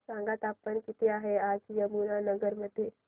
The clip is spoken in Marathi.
सांगा तापमान किती आहे आज यमुनानगर मध्ये